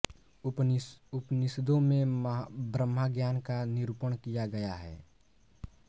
उपनिषदों में ब्रह्मज्ञान का निरूपण किया गया है